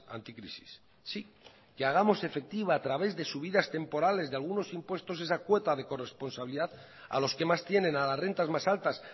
anticrisis sí que hagamos efectiva a través de subidas temporales de algunos impuestos esa cuota de corresponsabilidad a los que más tienen a las rentas más altas